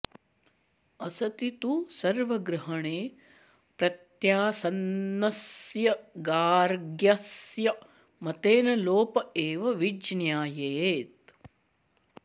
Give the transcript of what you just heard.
असति तु सर्वग्रहणे प्रत्यासन्नस्य गाग्र्यस्य मतेन लोप एव विज्ञायेत